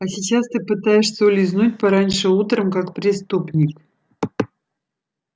а сейчас ты пытаешься улизнуть пораньше утром как преступник